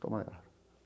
Toma ela.